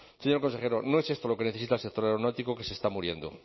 señor consejero no es esto lo que necesita el sector aeronáutico que se está muriendo